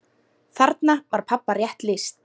Þarna var pabba rétt lýst.